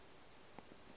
ba ge ba se sa